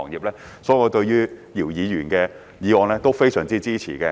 所以，我對於姚議員的議案是非常支持的。